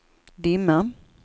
dimma